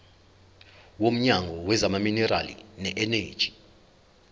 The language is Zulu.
womnyango wezamaminerali neeneji